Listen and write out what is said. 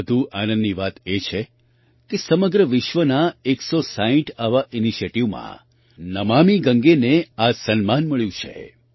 વધુ આનંદની વાત એ છે કે સમગ્ર વિશ્વના 160 આવાં ઇનિશિએટિવમાં નમામિ ગંગાને આ સન્માન મળ્યું છે